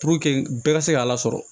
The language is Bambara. Puruke bɛɛ ka se k'a lasɔrɔ